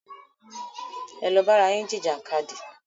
Ẹ lọ bára yín jìjà kadì!